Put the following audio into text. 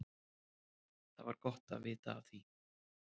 Það var gott að vita af því.